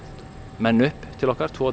menn upp til okkar tvo